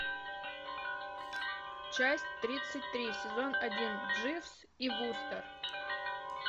часть тридцать три сезон один дживс и вустер